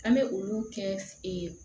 An bɛ olu kɛ